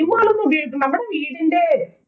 scheme ഉകളൊന്നും നമ്മുടെ വീടിന്‍റെ